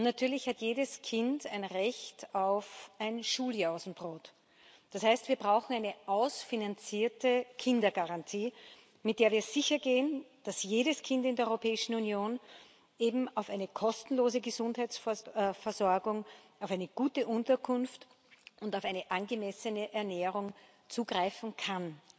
Natürlich hat jedes Kind ein Recht auf ein Schuljausenbrot. Das heißt, wir brauchen eine ausfinanzierte Kindergarantie, mit der wir sichergehen, dass jedes Kind in der Europäischen Union eben auf eine kostenlose Gesundheitsversorgung, auf eine gute Unterkunft und auf eine angemessene Ernährung zugreifen kann.